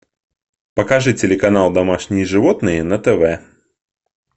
покажи телеканал домашние животные на тв